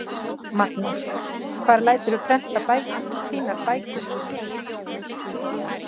Magnús: Hvar læturðu prenta þínar bækur?